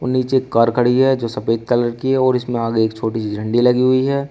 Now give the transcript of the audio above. नीचे एक कार खड़ी है जो सफेद कलर की है और इसमें आगे एक छोटी सी झंडी लगी हुई है।